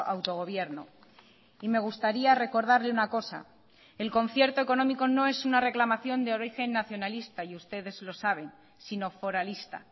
autogobierno y me gustaría recordarle una cosa el concierto económico no es una reclamación de origen nacionalista y ustedes lo saben sino foralista